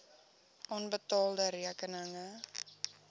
onbetaalde rekeninge